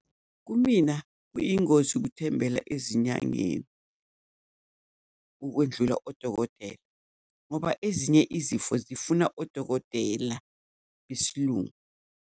Kumina kwiyingozi ukuthembela ezinyangeni ukwendlula odokotela, ngoba ezinye izifo zifuna odokotela besiLungu.